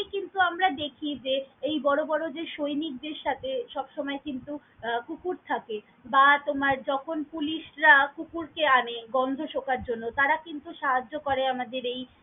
ক্ষেত্রে আমরা দেখি যে এই বড়ো বড়ো যে সৈনিক দের সাথে সব সময় কিন্তু আহ কুকুর থাকে বা তোমার যখন পুলিশরা কুকুর কে আনে গন্ধ শোঁকার জন্য তারা কিন্তু সাহায্য করে আমাদের এই।